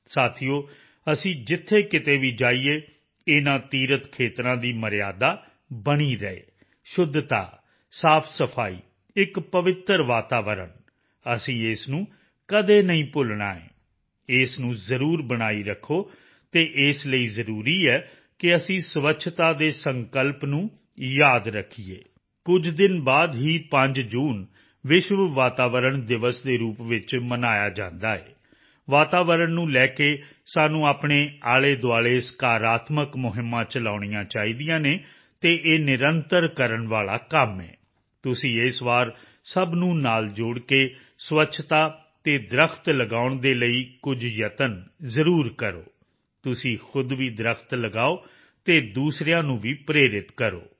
ਸਾਥੀਓ ਅਸੀਂ ਜਿੱਥੇ ਕਿਤੇ ਵੀ ਜਾਈਏ ਇਨ੍ਹਾਂ ਤੀਰਥ ਖੇਤਰਾਂ ਦੀ ਮਰਿਯਾਦਾ ਬਣੀ ਰਹੇ ਸ਼ੁੱਧਤਾ ਸਾਫਸਫਾਈ ਇੱਕ ਪਵਿੱਤਰ ਵਾਤਾਵਰਣ ਅਸੀਂ ਇਸ ਨੂੰ ਕਦੇ ਨਹੀਂ ਭੁੱਲਣਾ ਹੈ ਇਸ ਨੂੰ ਜ਼ਰੂਰ ਬਣਾਈ ਰੱਖੋ ਅਤੇ ਇਸ ਲਈ ਜ਼ਰੂਰੀ ਹੈ ਕਿ ਅਸੀਂ ਸਵੱਛਤਾ ਦੇ ਸੰਕਲਪ ਨੂੰ ਯਾਦ ਰੱਖੀਏ ਕੁਝ ਦਿਨ ਬਾਅਦ ਹੀ 5 ਜੂਨ ਵਿਸ਼ਵ ਵਾਤਾਵਰਣ ਦਿਵਸ ਦੇ ਰੂਪ ਵਿੱਚ ਮਨਾਇਆ ਜਾਂਦਾ ਹੈ ਵਾਤਾਵਰਣ ਨੂੰ ਲੈ ਕੇ ਸਾਨੂੰ ਆਪਣੇ ਆਲ਼ੇਦੁਆਲ਼ੇ ਸਕਾਰਾਤਮਕ ਮੁਹਿੰਮਾਂ ਚਲਾਉਣੀਆਂ ਚਾਹੀਦੀਆਂ ਹਨ ਅਤੇ ਇਹ ਨਿਰੰਤਰ ਕਰਨ ਵਾਲਾ ਕੰਮ ਹੈ ਤੁਸੀਂ ਇਸ ਵਾਰ ਸਭ ਨੂੰ ਨਾਲ ਜੋੜ ਕੇ ਸਵੱਛਤਾ ਅਤੇ ਦਰੱਖਤ ਲਗਾਉਣ ਦੇ ਲਈ ਕੁਝ ਯਤਨ ਜ਼ਰੂਰ ਕਰੋ ਤੁਸੀਂ ਖੁਦ ਵੀ ਦਰੱਖਤ ਲਗਾਓ ਅਤੇ ਦੂਸਰਿਆਂ ਨੂੰ ਵੀ ਪ੍ਰੇਰਿਤ ਕਰੋ